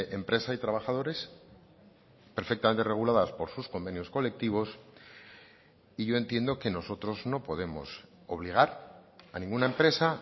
empresa y trabajadores perfectamente reguladas por sus convenios colectivos y yo entiendo que nosotros no podemos obligar a ninguna empresa